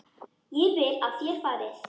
Ég vil að þér farið.